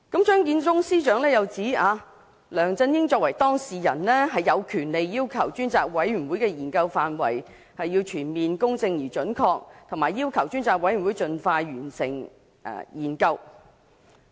張建宗司長又指梁振英作為當事人，有權要求專責委員會的研究範圍要全面公正而準確，以及盡快完成研究。